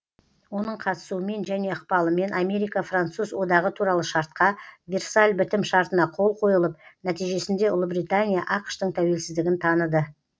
оның қатысуымен және ықпалымен америка француз одағы туралы шартқа версаль бітім шартына қол қойылып нәтижесінде ұлыбритания ақш тың тәуелсіздігін таныды